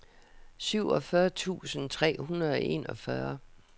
syvogfyrre tusind tre hundrede og enogfyrre